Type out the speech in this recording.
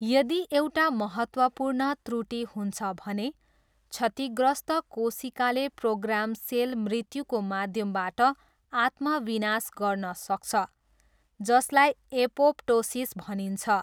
यदि एउटा महत्त्वपूर्ण त्रुटि हुन्छ भने, क्षतिग्रस्त कोशिकाले प्रोग्राम सेल मृत्युको माध्यमबाट आत्मविनाश गर्न सक्छ, जसलाई एपोप्टोसिस भनिन्छ।